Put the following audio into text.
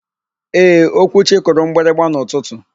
Ee, Okwuchi kụrụ mgbịrịgba n'ụtụtụ.